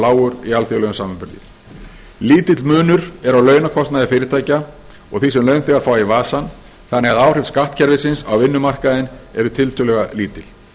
lágur í alþjóðlegum samanburði lítill munur er á launakostnaði fyrirtækja og því sem launþegar fá í vasann þannig að áhrif skattkerfisins á vinnumarkaðinn eru tiltölulega lítil